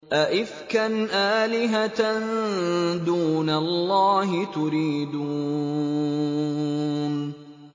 أَئِفْكًا آلِهَةً دُونَ اللَّهِ تُرِيدُونَ